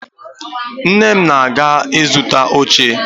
Nne m na-aga ịzụta oche